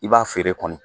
I b'a feere kɔni